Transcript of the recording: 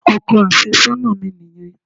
Ọkọ àfẹ́sọ́nà mi nìyẹn.